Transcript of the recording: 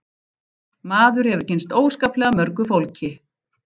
Maður hefur kynnst óskaplega mörgu fólki